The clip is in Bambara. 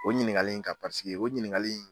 O ɲiningali in kan pariseke o ɲiningali in